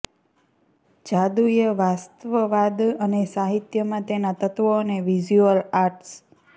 જાદુઈ વાસ્તવવાદ અને સાહિત્યમાં તેના તત્વો અને વિઝ્યુઅલ આર્ટ્સ